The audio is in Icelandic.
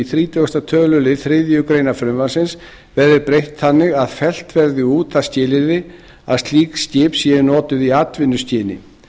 þrítugasta töluliður þriðju greinar frumvarpsins verði breytt þannig að fellt verði út það skilyrði að slík skip séu notuð í atvinnuskyni